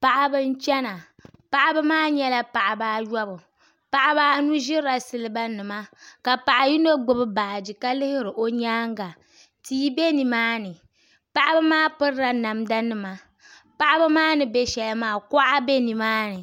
Paɣaba n chɛna paɣaba maa nyɛla paɣaba ayobu ka ʒiri siliba taha ka paɣa yino gbubi baaji ka lihiri o nyaanga tia bɛ nimaani paɣaba maa pirila namda nima paɣaba maa ni bɛ shɛli maa kuɣa bɛ nimaani